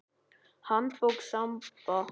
Handbók Samba.